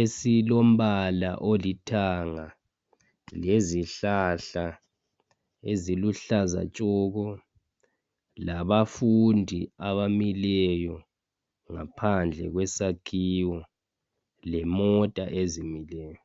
esilombalo oluthanga lezihlahla eziluhlaza tshoko labafundi abamileyo ngaphandle kwesakhiwo lemota ezimileyo